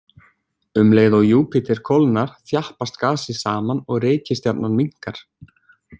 Um leið og Júpíter kólnar, þjappast gasið saman og reikistjarnan minnkar.